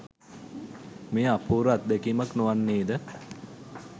මෙය අපූර්ව අත්දැකීමක් නොවන්නේද?